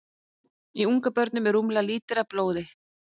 Í ungabörnum er rúmlega lítri af blóði.